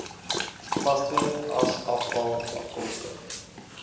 vaste asafval afkomstig